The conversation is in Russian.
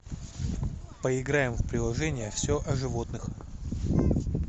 поиграем в приложение все о животных